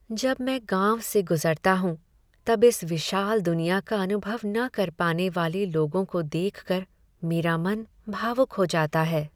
जब मैं गाँव से गुजरता हूँ, तब इस विशाल दुनियाँ का अनुभव न कर पाने वाले लोगों को देख कर मेरा मन भावुक हो जाता है।